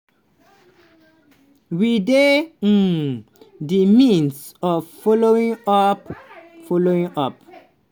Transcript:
"we dey um di midst of following up. following up.